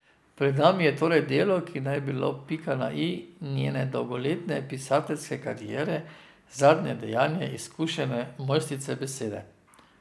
Pred nami je torej delo, ki naj bi bilo pika na i njene dolgoletne pisateljske kariere, zadnje dejanje izkušene mojstrice besede.